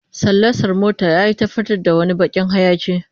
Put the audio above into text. Salansar motar yayi ta fitar da wani bakin hayaki